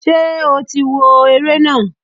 Ṣé o tí wo ere na?